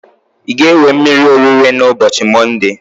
I ga-ewe mmiri orire na ubochi monde?